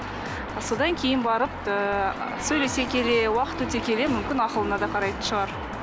а содан кейін барып ыыы сөйлесе келе уақыт өте келе мүмкін ақылына да қарайтын шығар